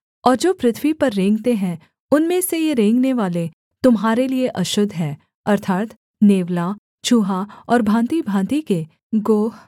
और जो पृथ्वी पर रेंगते हैं उनमें से ये रेंगनेवाले तुम्हारे लिये अशुद्ध हैं अर्थात् नेवला चूहा और भाँतिभाँति के गोह